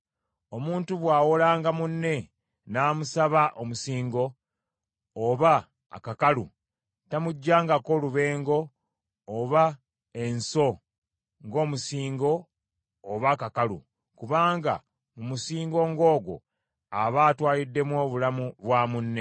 Omuntu bw’awolanga munne n’amusaba omusingo, oba akakalu, tamuggyangako lubengo oba enso ng’omusingo oba akakalu, kubanga mu musingo ng’ogwo, aba atwaliddemu obulamu bwa munne.